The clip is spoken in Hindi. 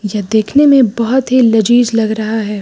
यह देखने में बहुत ही लजीज लग रहा है।